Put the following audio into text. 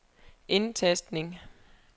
indtastning